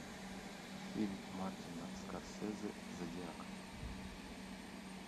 фильм мартина скорсезе зодиак